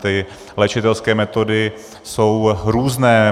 Ty léčitelské metody jsou různé.